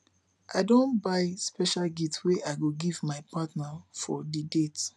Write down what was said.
i don buy special gift wey i go give my partner for di date